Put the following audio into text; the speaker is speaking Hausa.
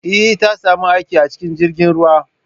Eh, Ta sami aiki a cikin jirgin ruwa